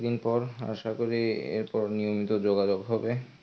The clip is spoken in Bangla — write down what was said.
অনেকদিন পর আশা করি এরপর নিয়মিত যোগাযোগ হবে.